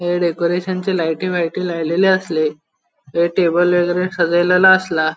ये डेकोरैशनचे लायटी लायटी लायलेले आसले ये टेबल सजेलेले आसला.